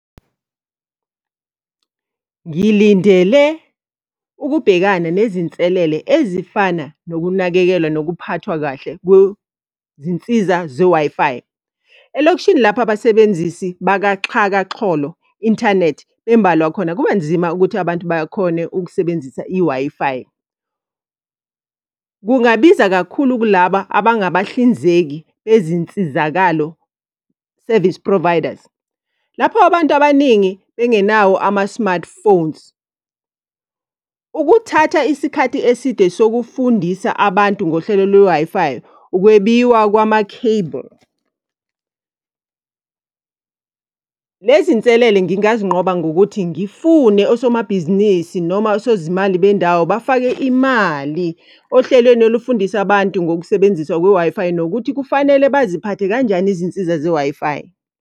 Ngilindele ukubhekana nezinselele ezifana nokunakekelwa nokuphathwa kahle kwezinsiza ze-Wi-Fi. Elokishini lapho abasebenzisi bakaxhakaxholo, inthanethi, bembalwa khona kubanzima ukuthi abantu bakhone ukusebenzisa i-Wi-Fi. Kungabiza kakhulu kulaba abangabahlinzeki bezinsizakalo, service providers, lapho abantu abaningi bengenawo ama-smartphones. Ukuthatha isikhathi eside sokufundisa abantu ngohlelo lwe-Wi-Fi, ukwebiwa kwama-cable. Lezi nselele ngingazinqoba ngokuthi ngifune osomabhizinisi noma osozimali bendawo bafake imali ohlelweni olifundisa abantu ngokusebenziswa kwe-Wi-Fi, nokuthi kufanele baziphathe kanjani izinsiza ze-Wi-Fi.